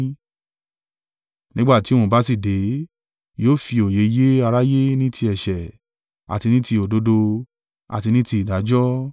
Nígbà tí òun bá sì dé, yóò fi òye yé aráyé ní ti ẹ̀ṣẹ̀, àti ní ti òdodo, àti ní ti ìdájọ́,